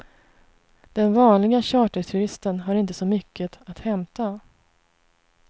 Den vanliga charterturisten har inte så mycket att hämta.